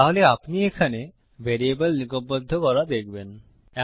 তাহলে আপনি এখানে ভ্যারিয়েবল নিগমবদ্ধ করা দেখবেন